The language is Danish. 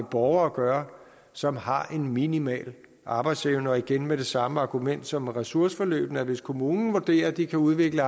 borgere at gøre som har en minimal arbejdsevne og igen med det samme argument som ved ressourceforløbene med at hvis kommunen vurderer at de kan udvikle